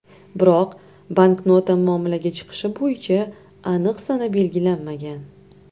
Biroq, banknota muomalaga chiqishi bo‘yicha aniq sana belgilanmagan .